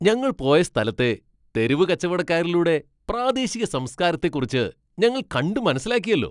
ഞങ്ങൾ പോയ സ്ഥലത്തെ തെരുവ് കച്ചവടക്കാരിലൂടെ പ്രാദേശിക സംസ്കാരത്തെക്കുറിച്ച് ഞങ്ങൾ കണ്ട് മനസ്സിലാക്കിയല്ലോ.